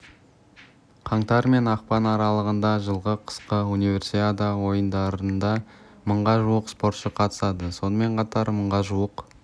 қаңтар мен ақпан аралығында жылғы қысқы универсиада ойындарында мыңға жуық спортшы қатысады сонымен қатар мыңға жуық